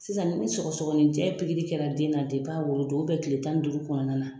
Sisan ni sɔgɔsɔgɔninjɛ kɛra den na kile tan ni duuru kɔnɔna na.